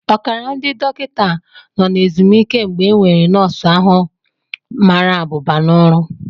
Ọkara ndị dọkịta nọ na ezumike mgbe enwere nọọsụ ahu mara abụba n'ọrụ